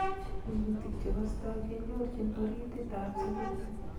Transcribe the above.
Kunyutik chekastai kenyorchin oritiit ab serut